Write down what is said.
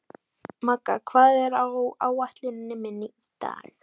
Magga, hvað er á áætluninni minni í dag?